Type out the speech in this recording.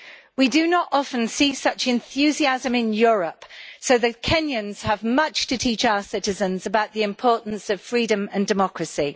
We do not often see such enthusiasm in Europe, so the Kenyans have much to teach our citizens about the importance of freedom and democracy.